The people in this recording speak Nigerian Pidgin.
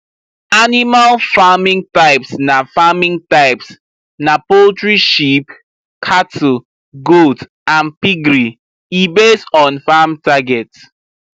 animal farming types na farming types na poultry sheep cattle goats and piggery e base on farm target